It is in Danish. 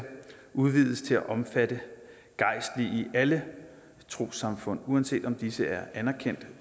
udvides til også at omfatte gejstlige i alle trossamfund uanset om disse er anerkendt